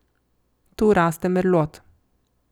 Tu raste merlot.